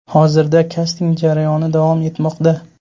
Hozirda kasting jarayoni davom etmoqda.